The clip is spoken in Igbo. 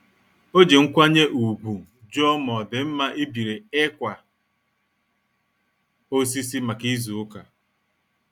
O ji nkwanye ùgwù jụọ ma ọ dị mma ibiri ịkwa osisi maka izu ụka.